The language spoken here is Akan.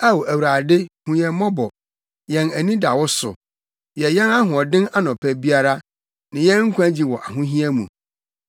Ao Awurade, hu yɛn mmɔbɔ; yɛn ani da wo so. Yɛ yɛn ahoɔden anɔpa biara, ne yɛn nkwagye wɔ ahohia mu.